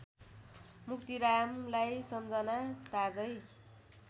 मुक्तिरामलाई सम्झना ताजै